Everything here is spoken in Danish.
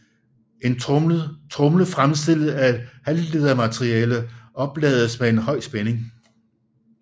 En tromle fremstillet af et halvledermateriale oplades med en høj spænding